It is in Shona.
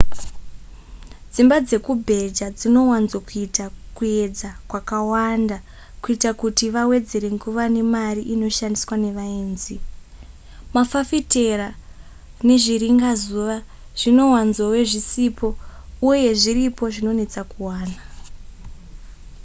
dzimba dzekubheja dzinowanzokuita kuedza kwakawanda kuita kuti vawedzera nguva nemari inoshandisiwa nevaenzi mafafitera nezviringazuva zvinowanzove zvisipo uye zviripo zvinonetsa kuwana